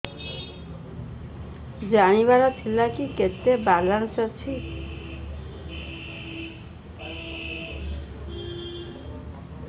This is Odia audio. ଜାଣିବାର ଥିଲା କି କେତେ ବାଲାନ୍ସ ଅଛି